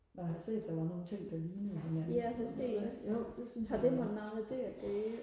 når jeg har set der var nogle ting der lignede hinanden og sådan noget ikke jo det synes jeg